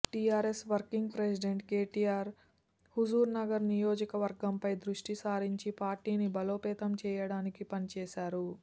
TRS working president KTR Huzur Nagar నియోజకవర్గం పై దృష్టి సారించి పార్టీని బలోపేతం చేయడానికి పని చేశారు